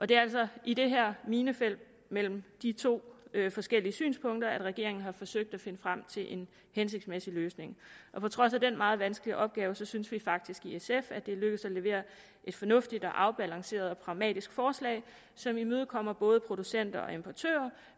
det er altså i det her minefelt mellem de to forskellige synspunkter regeringen har forsøgt at finde frem til en hensigtsmæssig løsning på trods af den meget vanskelige opgave synes vi faktisk i sf at det er lykkedes at levere et fornuftigt afbalanceret og pragmatisk forslag som imødekommer både producenter og importører